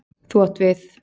Þú átt við.